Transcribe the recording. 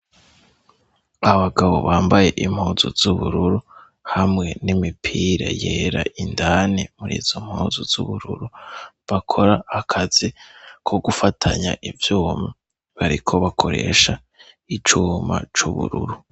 Abagabo bambaye impuzu z'ubururu, hamwe n'imipira yera indani muri izo mpuzu z'ubururu; bakora akazi ko gufatanya ivyuma. Bariko bakoresha icuma c'ubururu.